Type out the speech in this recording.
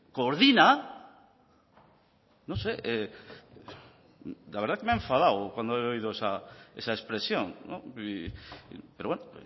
coordina la verdad es que me hace enfadado cuando he oído esa expresión pero bueno